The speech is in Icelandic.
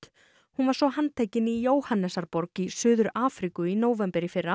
hún var svo handtekin í Jóhannesarborg í Suður Afríku í nóvember í fyrra